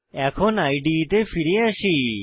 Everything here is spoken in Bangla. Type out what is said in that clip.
এখন ইদে তে ফিরে আসি